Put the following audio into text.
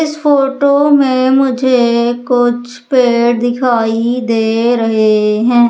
इस फोटो में मुझे कुछ पेड़ दिखाई दे रहे हैं।